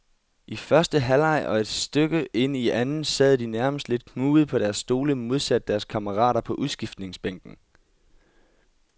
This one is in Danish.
I første halvleg og et stykke ind i anden sad de nærmest lidt knugede på deres stole modsat deres kammerater på udskiftningsbænken.